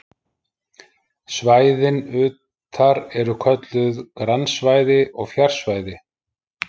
Svæðin utar eru kölluð grannsvæði og fjarsvæði.